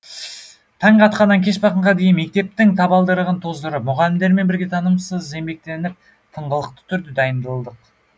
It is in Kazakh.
таң атқаннан кеш батқанға дейін мектептің табалдырығын тоздырып мұғалімдермен бірге тынымсыз еңбектеніп тыңғылықты түрде дайындылдық